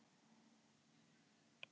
Bakki var tvílyft steinhús.